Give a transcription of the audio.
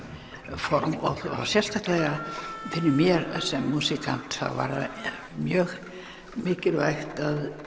form sérstaklega fyrir mér sem músíkant það var mjög mikilvægt